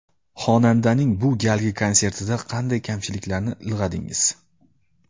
Xonandaning bu galgi konsertida qanday kamchiliklarni ilg‘adingiz?